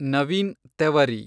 Naveen Tewari